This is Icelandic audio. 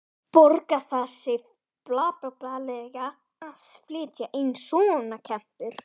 Borgar það sig fjárhagslega að flytja inn svona kempur?